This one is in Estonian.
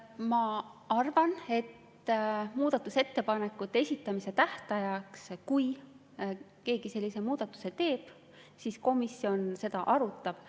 Ma arvan, et kui keegi muudatusettepanekute esitamise tähtajaks sellise muudatuse teeb, siis komisjon seda arutab.